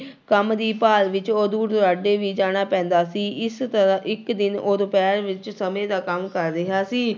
ਕੰਮ ਦੀ ਭਾਲ ਵਿੱਚ ਉਹ ਦੂਰ ਦੁਰਾਡੇ ਵੀ ਜਾਣਾ ਪੈਂਦਾ ਸੀੳ, ਇਸ ਤਰ੍ਹਾਂ ਇੱਕ ਦਿਨ ਉਹ ਦੁਪਿਹਰ ਵਿੱਚ ਸਮੇਂ ਦਾ ਕੰਮ ਕਰ ਰਿਹਾ ਸੀ।